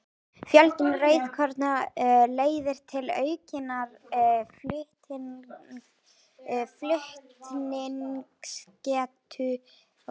Fjölgun rauðkorna leiðir til aukinnar flutningsgetu súrefnis og súrefnismagn blóðs hækkar á ný.